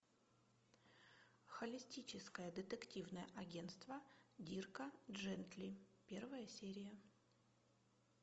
холистическое детективное агентство дирка джентли первая серия